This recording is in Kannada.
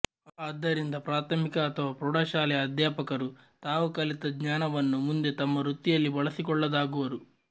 ಆದ್ದರಿಂದ ಪ್ರಾಥಮಿಕ ಅಥವಾ ಪ್ರೌಢಶಾಲೆಯ ಅಧ್ಯಾಪಕರು ತಾವು ಕಲಿತ ಜ್ಞಾನವನ್ನು ಮುಂದೆ ತಮ್ಮ ವೃತ್ತಿಯಲ್ಲಿ ಬಳಸಿಕೊಳ್ಳದಾಗುವರು